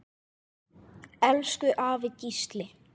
Elsku afi Gísli.